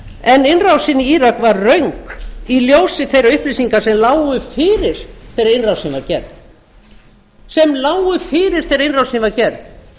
en innrásin í írak var röng í ljósi þeirra upplýsinga sem lágu fyrir þegar innrásin var gerð